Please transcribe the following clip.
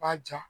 B'a ja